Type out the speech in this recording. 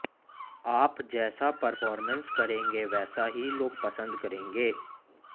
आप जैसा परफॉरमेंस करेंगे वैसा ही लोग पसंद करेंगे